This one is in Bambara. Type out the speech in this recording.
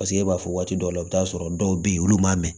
Paseke e b'a fɔ waati dɔw la i bi t'a sɔrɔ dɔw be yen olu m'a mɛn